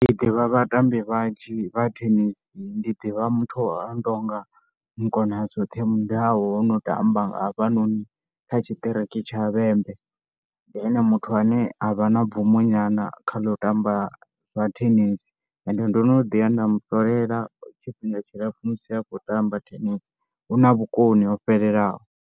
Ndi ḓivha vhatambi vhanzhi vha thenisi, ndi ḓivha muthu a no tou nga Mukonazwoṱhe MUDAU o no muḓi tamba nga hafhanoni kha tshiṱiriki tsha vhembe. Ndi ene muthu ane a vha na bvumo nyana kha ḽa u tamba zwa thenisi ende ndo no ḓi ya mu ṱolela tshifhinga tshilapfhu musi a khou tamba thenisi, u na vhukoni o fhelelaho.